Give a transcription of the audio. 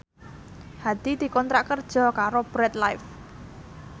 Hadi dikontrak kerja karo Bread Life